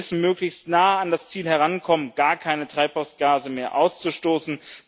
Wir müssen möglichst nah an das Ziel herankommen, gar keine Treibhausgase mehr auszustoßen.